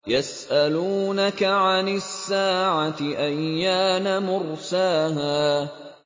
يَسْأَلُونَكَ عَنِ السَّاعَةِ أَيَّانَ مُرْسَاهَا